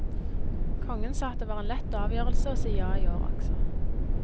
Kongen sa at det var en lett avgjørelse å si ja i år også.